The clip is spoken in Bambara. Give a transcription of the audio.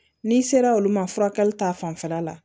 N'i sera olu ma furakɛli ta fanfɛla la